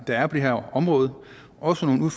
der er på det her område også nogle